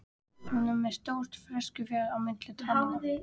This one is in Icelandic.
Hún er með stórt frekjuskarð á milli tannanna.